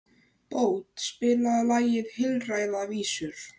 Bót, spilaðu lagið „Heilræðavísur“.